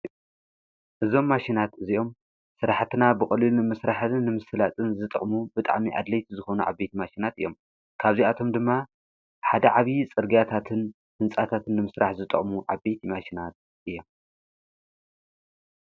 እዞም ማሽናት እዚኦም ሥራሕትና ብቖሊል ምሥራሕትን ንምስላጥን ዝጠቕሙ ብጣዕሚ ኣድለይት ዝኾኑ ዓቤት ማሽናት እዮም ካብዚኣቶም ድማ ሓደ ዓቢዪ ጽርጊያታትን ሕንጻታትን ንምሥራሕ ዝጠቕሙ ዓቤት ማሽናት እየ።